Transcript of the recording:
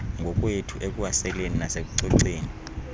ngokwethu ekuwaseleni nasekucoceni